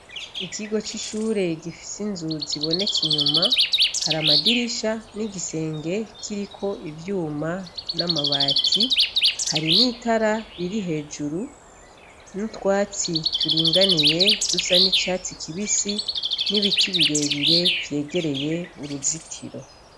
Ikigo c'ishure gifise inzu ziboneka inyuma, hari amadirisha n'igisenge kiriko ivyuma n'amabati, hari n'itara riri hejuru n'utwatsi turinganiye dusa n'icatsi kibisi n'ibiti birebire vyegereye uruzitiro.